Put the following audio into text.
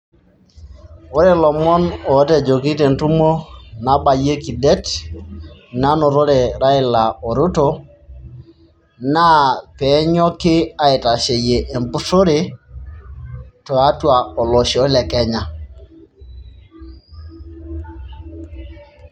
Ore ilomon otejoki tentumo nabayieki det ,nanotore Raila o Ruto naa penyoki aitasheyie empushore tiatua olosho le Kenya